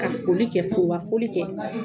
Ka foli kɛ ka forobafoli kɛ